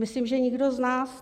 Myslím, že nikdo z nás.